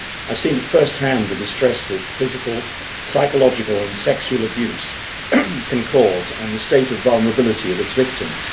I have seen at first hand the distress that physical, psychological and sexual abuse can cause and the state of vulnerability of its victims.